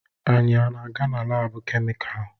Anyị na-aga na laabu kemịkalụ?